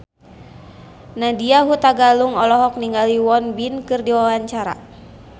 Nadya Hutagalung olohok ningali Won Bin keur diwawancara